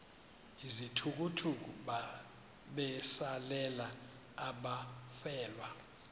izithukuthuku besalela abafelwa